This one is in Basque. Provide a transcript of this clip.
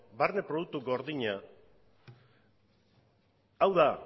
barne produktu gordina hau da